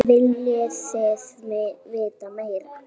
Viljið þið vita meira?